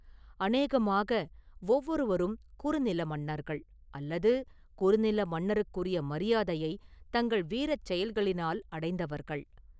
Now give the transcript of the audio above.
அநேகமாக ஒவ்வொருவரும் குறுநில மன்னர்கள்; அல்லது குறுநில மன்னருக்குரிய மரியாதையைத் தங்கள் வீரச் செயல்களினால் அடைந்தவர்கள்.